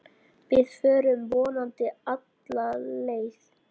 Við förum vonandi alla leið